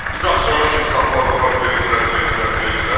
Bizi axşama kimi saxladılar, döydülər, döydülər, döydülər.